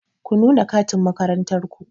Ku nuna katin makarantar ku!